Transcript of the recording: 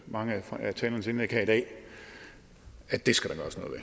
mange af talernes indlæg her i dag at det skal